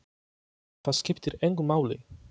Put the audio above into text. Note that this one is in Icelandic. Það skiptir engu máli!